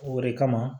O de kama